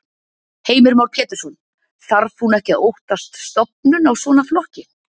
Heimir Már Pétursson: Þarf hún ekki að óttast stofnun á svona flokki?